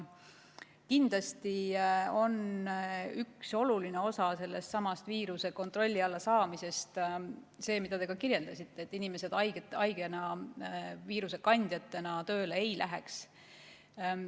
Kindlasti on üks oluline osa viiruse kontrolli alla saamisest see, mida te kirjeldasite, et inimesed haigetena, viirusekandjatena tööle ei läheks.